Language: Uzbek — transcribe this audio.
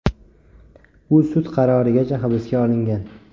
U sud qarorigacha hibsga olingan.